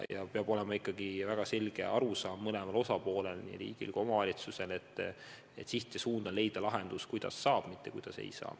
Ja peab olema ikkagi väga selge arusaam mõlemal osapoolel, nii riigil kui omavalitsustel, et siht on leida lahendus, kuidas saab, mitte kuidas ei saa.